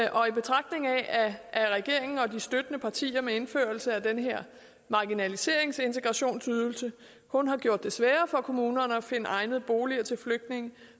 og i betragtning af at regeringen og støttepartierne med indførelsen af den her marginaliseringsintegrationsydelse kun har gjort det sværere for kommunerne at finde egnede boliger til flygtninge